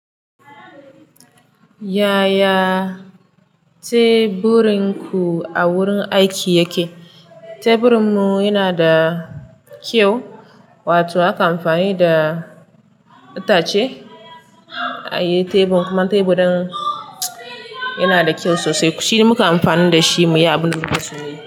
Yaya teburinku a wurin aiki yake? Teburinmu yana da kyau, wato akan amfani da itace a yi tebur, kuma teburin yana da kyau sosai. Shi mukan amfani da shi muyi abunda muke so muyi.